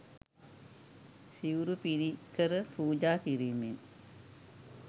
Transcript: සිවුරු පිරිකර පූජා කිරීමෙන්